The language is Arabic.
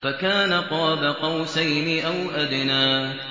فَكَانَ قَابَ قَوْسَيْنِ أَوْ أَدْنَىٰ